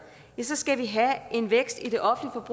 ja så skal vi have en vækst i det